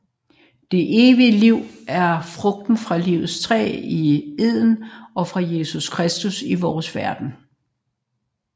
Det evige liv er frugten fra Livets træ i Eden og fra Jesus Kristus i vores verden